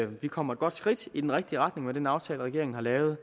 vi kommer et godt skridt i den rigtige retning med den aftale regeringen har lavet